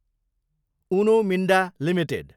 Uno Minda Ltd